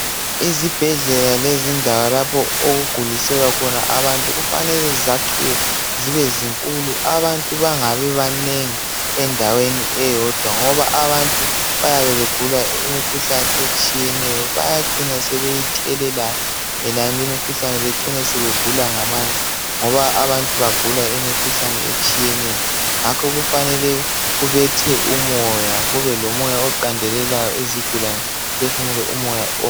Ezibhedlela lendawo lapho okuguliselwa khona abantu kufanele zakhiwe zibe zinkulu abantu bangabi banengi endaweni eyodwa ngoba abantu bayabe begula imikhuhlane etshiyeneyo abayacina sebeyithelelana umkhuhlane becine sebegula ngamandla ngoba abantu bagula imikhuhlane etshiyeneyo ngakho kufanele kubethe umoya kube lomoya oqandelelayo izigulane ziphefumule umoya